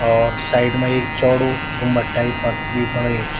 और साइड मा एक चौडो गुम्बद टाइप क भी बणयीं च।